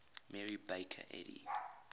mary baker eddy